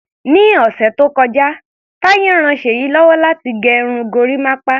Ni ọ̀sẹ̀ tó kọjá, Taye ran Ṣèyí lọ́wọ́ láti gẹ irun gorímápá.